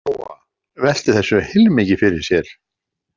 Lóa-Lóa velti þessu heilmikið fyrir sér.